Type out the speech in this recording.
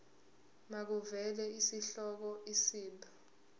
makuvele isihloko isib